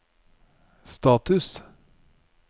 status